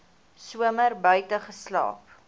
somer buite geslaap